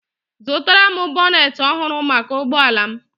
Azụtara m bonet ọhụrụ maka ụgbọ ala m